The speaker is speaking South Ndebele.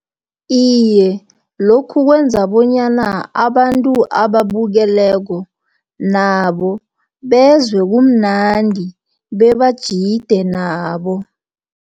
Iye, lokhu kwenza bonyana abantu ababukeleko, nabo bezwe kumnandi, bebajide nabo.